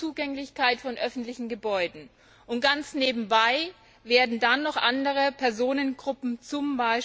die Zugänglichkeit von öffentlichen Gebäuden. Und ganz nebenbei werden dann noch andere Personengruppen z.